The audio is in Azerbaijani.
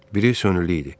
Biri sönülü idi.